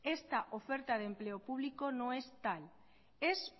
esta oferta de empleo publico no es tal es